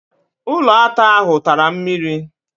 Ụlọata ahụ tara mmiri.